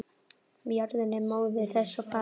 Jörðin er móðir þess og faðir.